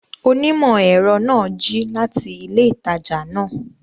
Onímọ̀-ẹ̀rọ náà jí láti ilé ìtajà náà